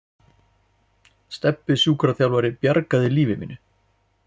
Stebbi sjúkraþjálfari bjargaði lífi mínu.